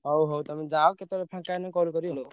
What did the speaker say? ହଉ ହଉ ତମେ ଯାଅ କେତବେଳେ ଫାଙ୍କା ହେଲେ call କରିବ।